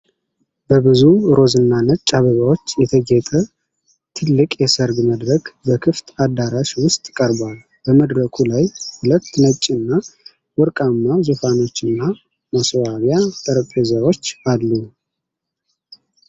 በብዙ ሮዝና ነጭ አበባዎች የተጌጠ ትልቅ የሰርግ መድረክ በክፍት አዳራሽ ውስጥ ቀርቧል። በመድረኩ ላይ ሁለት ነጭና ወርቃማ ዙፋኖችና ማስዋቢያ ጠረጴዛዎች አሉ።